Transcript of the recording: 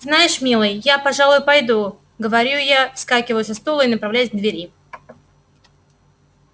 знаешь милый я пожалуй пойду говорю я вскакиваю со стула и направляюсь к двери